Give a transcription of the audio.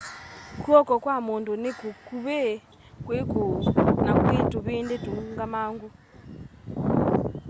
kw'oko kwa mundu ni kukuvi kwi kuu na kwii tuvindi tuungamangu